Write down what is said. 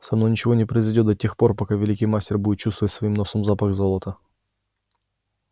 со мной ничего не произойдёт да тех пор пока великий мастер будет чувствовать своим носом запах золота